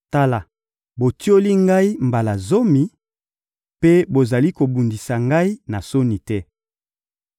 Tala, botioli ngai mbala zomi, mpe bozali kobundisa ngai na soni te.